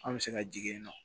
An bɛ se ka jigin yen nɔ